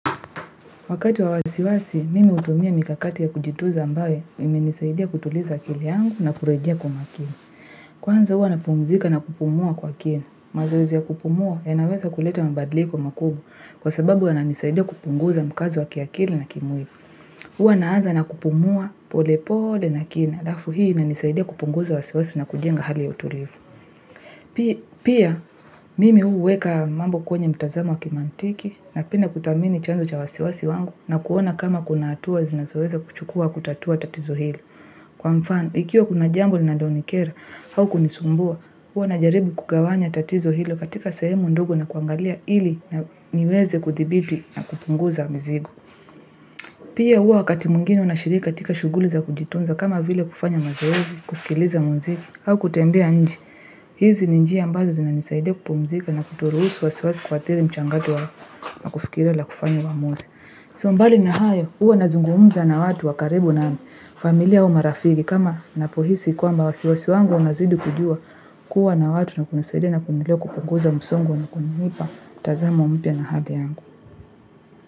Wakati wa wasiwasi, mimi hutumia mikakati ya kujitunza ambayo imenisaidia kutuliza akili yangu na kurejea kwa umakini. Kwanza huwa napumzika na kupumua kwa kini. Mazoezi ya kupumua yanaweza kuleta mabadliko makuu kwa sababu yananisaidia kupunguza mkazo wa kiakili na kimwili. Huwa naanza na kupumua pole pole na kini. Halafu hii inanisaidia kupunguza wasiwasi na kujenga hali ya utulivu. Pia, mimi huweka mambo kwenye mtazamo wa kimantiki napenda kutathmini chanzo cha wasiwasi wangu na kuona kama kuna hatua ninazoweza kuchukuwa kutatua tatizo hilo. Kwa mfano, ikiwa kuna jambo linalonikera au kunisumbua, huwa najaribu kugawanya tatizo hilo katika sehemu ndogo na kuangalia ili niweze kuthibiti na kupunguza mzigo. Pia huwa wakati mwingine unashiriki katika shuguli za kujitunza kama vile kufanya mazoezi, kusikiliza muziki au kutembea nje. Hizi ni njia ambazo zinanisaidia kupumzika na kutoruhusu wasiwasi kuathiri mchango wetu wa kufikiria na kufanya uamuzi. So mbali na hayo huwa nazungumza na watu wa karibu na familia au marafiki kama ninapohisi kwamba wasiwasi wangu unazidi kujua kuwa na watu na kunisaidia na kuendelea kupunguza musongo na kunipa mtazamo mpya na hata yangu.